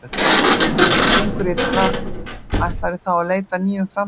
Ef það gengur illa, ætlarðu þá að leita að nýjum framherja?